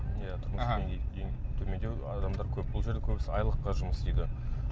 иә тұрмыс деңгейі төмендеу адамдар көп бұл жерде көбісі айлыққа жұмыс істейді